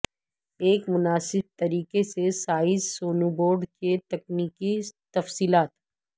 ایک مناسب طریقے سے سائز سنوبورڈ کے تکنیکی تفصیلات